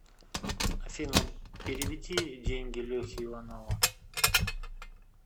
афина переведи деньги лехе иванову